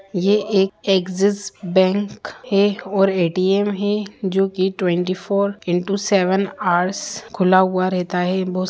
यह एक Axis bank हैऔर ए.टी.एम है जोकि twenty four into seven hours खुला हुआ रहता है --